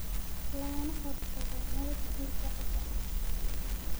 lagana hortago nabaad guurka ciidda.